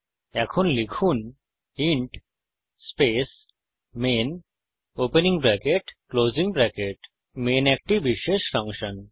এখন লিখুন int space main opening bracket closing bracket main একটি বিশেষ ফাংশন